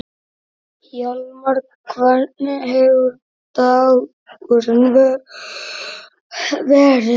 Hjálmar, hvernig hefur dagurinn verið?